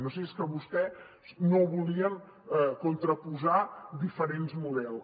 no sé si és que vostès no volien contraposar diferents models